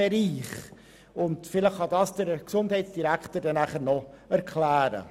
Vielleicht kann uns das der Gesundheitsdirektor dann noch erklären.